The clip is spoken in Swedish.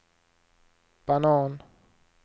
banan